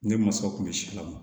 Ne masaw kun bɛ silamɛnw